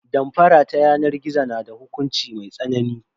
Damfara ta yanar gizo na da hukunci mai tsanani.